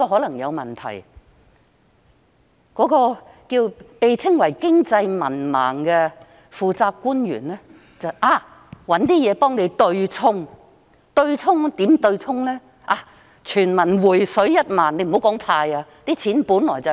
那個被稱為"經濟文盲"的負責官員也知道可能有問題，於是想出一些方法來對沖。